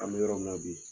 An bɛ yɔrɔ min na bi